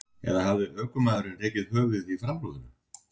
Eða hafði ökumaðurinn rekið höfuðið í framrúðuna?